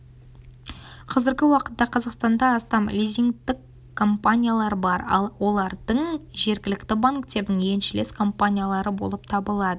қазіргі уақытта қазақстанда астам лизингтік компаниялар бар ал олардың жергілікті банктердің еншілес компаниялары болып табылады